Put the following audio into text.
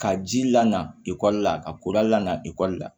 Ka ji lankoli la ka koda lan ekɔli la